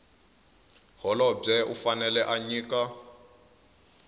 holobye u fanele a nyika